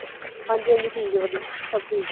ਹਾਂਜੀ ਹਾਂਜੀ ਠੀਕ ਆ ਵਧੀਆ ਸਬ ਠੀਕ ਆ